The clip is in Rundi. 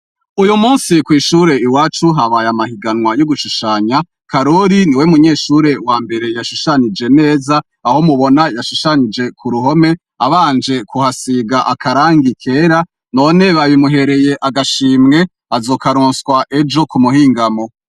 Uyu musi kw'ishure iwacu habaye amahiganwa y'ugushushanya, Karori niwe munyeshure wa mbere yashushanije neza aho mubona yashushanije ku ruhome abanje kuhasiga akarangi kera none babimuhereye agashimwe, azokaronswa ejo ku muhingamo.